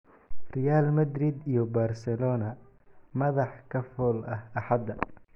Real Madrid iyo Barcelona: madax ka fool ah Axada